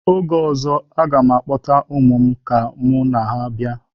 Oge ọzọ, m ga-akpọta ụmụ m ka mụ na ha bịa.